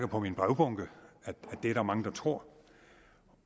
på min brevbunke at det er der mange der tror